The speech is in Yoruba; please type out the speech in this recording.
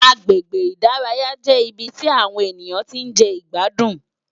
Àgbégbé Idàráyá jé ibi ti áwòn éniyán ti n je igbádún